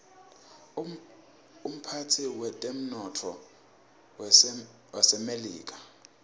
umphetsi wetemnotto wasemelika